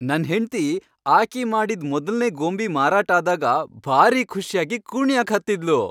ನನ್ ಹೆಂಡ್ತಿ ಆಕಿ ಮಾಡಿದ್ ಮೊದಲ್ನೇ ಗೊಂಬಿ ಮಾರಾಟ್ ಆದಾಗ ಭಾರೀ ಖುಷ್ಯಾಗಿ ಕುಣ್ಯಾಕ್ ಹತ್ತಿದ್ಲು.